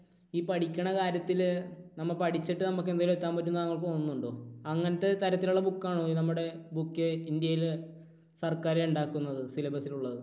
ഈ പഠിക്കണ കാര്യത്തിൽ, നമ്മൾ പഠിച്ചിട്ട് നമുക്ക് എന്തെങ്കിലും എത്താൻ പറ്റും എന്ന് താങ്കൾക്ക് തോന്നുന്നുണ്ടോ? അങ്ങനത്തെ തരത്തിലുള്ള book ആണോ നമ്മുടെ book ഇന്ത്യയിലെ സർക്കാർ ഉണ്ടാക്കുന്നത്? syllabus ൽ ഉള്ളത്?